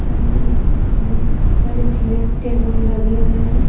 सामने बहुत सारे चेयर टेबल लगे हुए हैं।